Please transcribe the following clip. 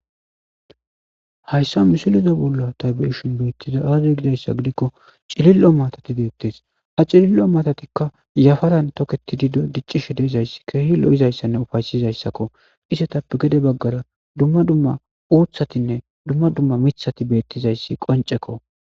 hayssa misiliza bolla tabe7ishin beittiza aazey gidayssa gidikko cilillo matati beettes ha cilillo matatikka yafaran toketidi do diccishe deezayssi keehi lo7izayssanne ufaysizayssakko isetappe gede baggara dumma dumma uuthatinne dumma dumma mithati beettizayssi qoncekko